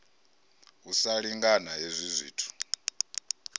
u sa lingana hezwi zwithu